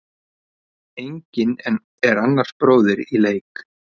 Enginn er annars bróðir í leik.